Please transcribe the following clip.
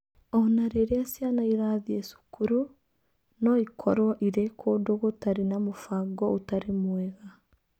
O na rĩrĩa ciana irathiĩ cukuru, no ikorũo irĩ kũndũ gũtarĩ na mũbango ũtarĩ mwega.